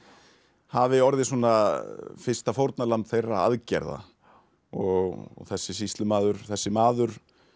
hafi orðið svona fyrsta fórnarlamb þeirra aðgerða og þessi sýslumaður þessi maður